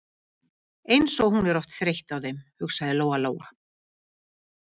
Eins og hún er oft þreytt á þeim, hugsaði Lóa Lóa.